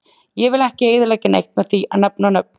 Ég vill ekki eyðileggja neitt með því að nefna nöfn.